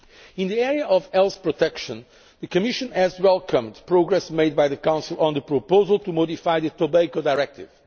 In the area of health protection, the Commission has welcomed progress made by the Council on the proposal to modify the Tobacco Directive.